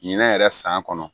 Ɲinɛ yɛrɛ san kɔnɔ